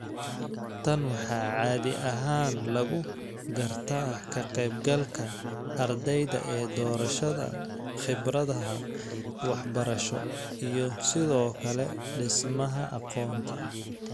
Tan waxaa caadi ahaan lagu gartaa ka qaybgalka ardayda ee doorashada khibradaha waxbarasho iyo sidoo kale dhismaha aqoonta.